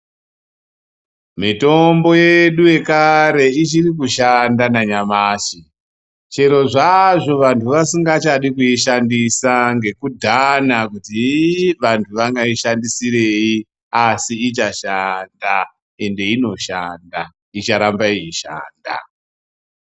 Mitombo yedu yekare ichiri kushanda nanyamashi chero zvaazvo anhu vasingachadi kuishandisa ngekudhana kuti iiyi vanhu vanoishandisirei, asi ichashanda, ende inoshanda icharamba yeishanda.